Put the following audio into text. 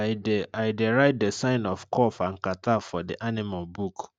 i dey i dey write the sign of cough and catarrh for the animal book